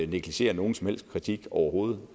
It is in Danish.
negligerer nogen som helst kritik overhovedet